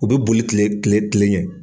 U bɛ boli kile kile ɲɛ.